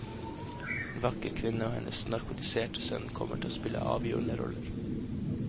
En vakker kvinne og hennes narkotiserte sønn kommer til å spille avgjørende roller.